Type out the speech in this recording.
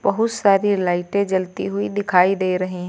बहुत सारी लाइटे जलती हुई दिखाई दे रही हैं।